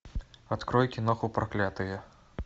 открой киноху проклятые